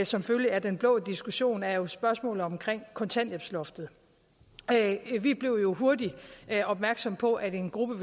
som følge af den blå diskussion er spørgsmålet om kontanthjælpsloftet vi blev jo hurtigt opmærksomme på at en gruppe